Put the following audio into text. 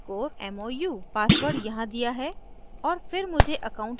kannan _ mou password यहाँ दिया है